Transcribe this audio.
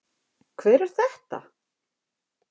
Hver er þetta?